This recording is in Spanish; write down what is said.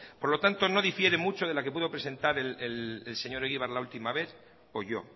por lo tanto no difiere mucho de la que pudo presentar el señor egibar la última vez o yo